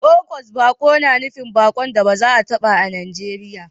August baƙo na nufin baƙon da ba a zata ba a Najeriya